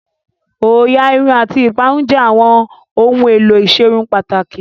Òyà Irun àti ìparun jẹ́ àwọn ohun èlò ìserun pàtàkì